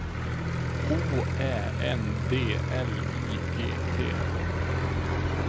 O Ä N D L I G T